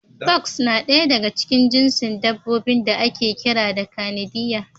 Fox na ɗaya daga cikin jinsin dabbobin da ake kira da Kanidiya.